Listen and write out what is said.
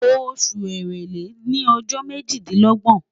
Oṣu Èrèlé ni ọjọ mejidinlọgbọn